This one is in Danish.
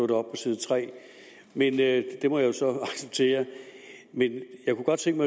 på side tredje men det må jeg jo så acceptere men jeg kunne godt tænke